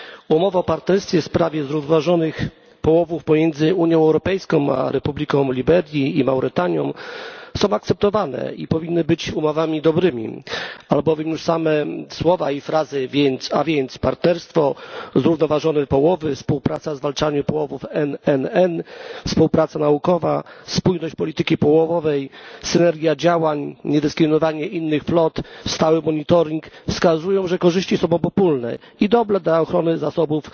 Umowy o partnerstwie w sprawie zrównoważonych połowów pomiędzy Unią Europejską a Republiką Liberii i Mauretanią są akceptowane i powinny być umowami dobrymi, albowiem już same słowa i frazy a więc partnerstwo, zrównoważone połowy, współpraca w zwalczaniu połowów NNN, współpraca naukowa, spójność polityki połowowej, synergia działań, niedyskryminowanie innych flot, stały monitoring wskazują, że korzyści są obopólne i dobre dla ochrony zasobów